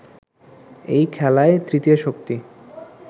এই খেলায় তৃতীয় শক্তি